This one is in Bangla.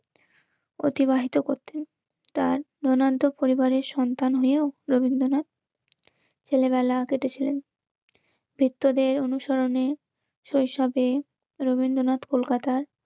পিতা দেবেন্দ্রনাথ দেশ ভ্রমণের নেশায় বছরের অধিকাংশ সময় কলকাতার বাইরে অতিবাহিত করতে. তার পরিবারের সন্তান হয়েও রবীন্দ্রনাথ ছেলেবেলা কেটেছিলেন. বৃত্তদের অনুসরণে শৈশবে, রবীন্দ্রনাথ কলকাতার